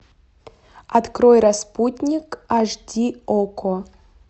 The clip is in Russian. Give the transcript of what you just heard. открой распутник аш ди окко